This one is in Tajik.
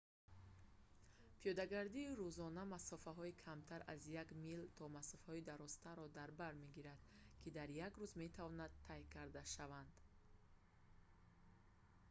пиёдагардии рӯзона масофаҳои камтар аз як мил то масофаҳои дарозтарро дар бар мегирад ки дар як рӯз метавонанд тай карда шаванд